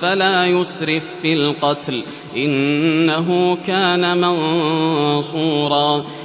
فَلَا يُسْرِف فِّي الْقَتْلِ ۖ إِنَّهُ كَانَ مَنصُورًا